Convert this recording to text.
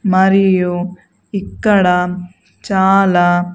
మరియు ఇక్కడా చాలా.